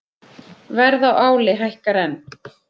Verð á áli hækkar enn